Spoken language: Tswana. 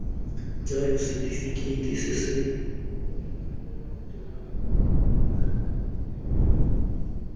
jalo setifikeiti se se rebotsweng